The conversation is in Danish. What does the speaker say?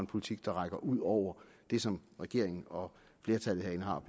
politik der rækker ud over det som regeringen og flertallet herinde har